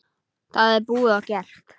Það er búið og gert!